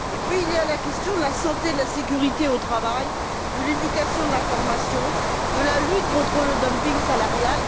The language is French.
Et puis il y a la question de la santé et de la sécurité au travail, de l'éducation et de la formation, de la lutte contre le dumping salarial.